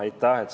Aitäh!